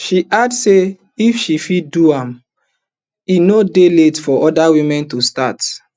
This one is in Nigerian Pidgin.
she add say if she fit do am e no dey late for oda women to start